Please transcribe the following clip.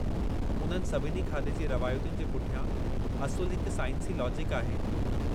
उन्हनि सभिनी खाधे जी रवायतुनि जे पुठियां असुलु हिक साइंसी लॉजिक आहे।